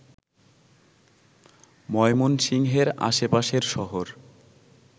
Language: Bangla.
ময়মনসিংহের আশেপাশের শহর